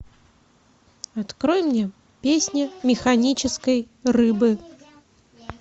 открой мне песни механической рыбы